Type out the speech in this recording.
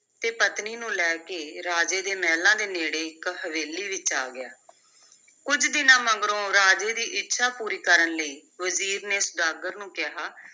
ਤੇ ਪਤਨੀ ਨੂੰ ਲੈ ਕੇ ਰਾਜੇ ਦੇ ਮਹਿਲਾਂ ਦੇ ਨੇੜੇ ਇਕ ਹਵੇਲੀ ਵਿਚ ਆ ਗਿਆ ਕੁੱਝ ਦਿਨਾਂ ਮਗਰੋਂ ਰਾਜੇ ਦੀ ਇੱਛਾ ਪੂਰੀ ਕਰਨ ਲਈ ਵਜ਼ੀਰ ਨੇ ਸੁਦਾਗਰ ਨੂੰ ਕਿਹਾ